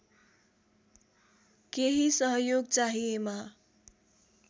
केही सहयोग चाहिएमा